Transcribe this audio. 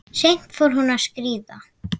Seint fór hún að skríða.